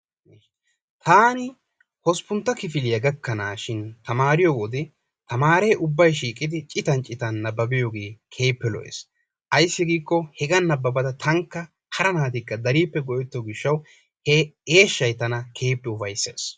Taani hosppuntta kifiliyaa gakkanaashin tamariyoo wode tamariree issippe uttidi nababiyoogee keehippe lo"ees. Ayssi giikko hegaan nababada tankka hara naatikka keehippe go"ettiyoo giishshawu he eeshshay tana keehippe upayssees.